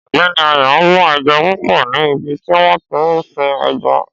Ọ̀gbẹ́ni Ayọ̀ mú eja púpò ní ibi tí wọ́n tí ń sin ẹja